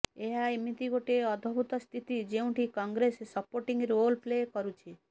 ଏହା ଏମିତି ଗୋଟିଏ ଅଦଭୁତ ସ୍ଥିତି ଯେଉଁଠି କଂଗ୍ରେସ ସପୋର୍ଟିଂ ରୋଲ୍ ପ୍ଲେ କରୁଛି